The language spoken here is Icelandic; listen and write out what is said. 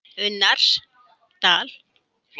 Unnarsdal